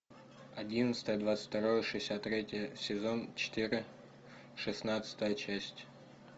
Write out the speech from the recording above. одиннадцатое двадцать второе шестьдесят третье сезон четыре шестнадцатая часть